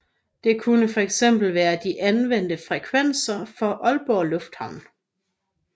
Det kunne for eksempel være de anvendte frekvenser for Aalborg Lufthavn